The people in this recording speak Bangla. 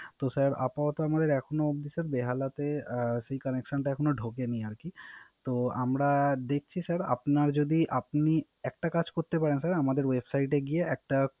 তো স্যার আপাতত এখনঅব্দি বেহালাতে সেই Connection এখনো ঢোকে নি । তো আমরা দেখছি স্যার আপনার যদি আপনি একটা কাজ করতে পারেন স্যার আমাদের Website এ গিয়ে